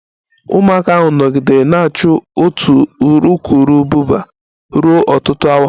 Ụmụaka ahụ nọgidere na-achụ otu urukurubụba ruo ọtụtụ awa